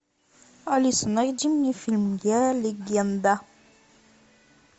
алиса найди мне фильм я легенда